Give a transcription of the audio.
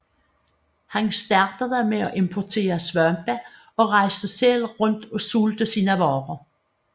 Han startede med at importere svampe og rejste selv rundt og solgte sine varer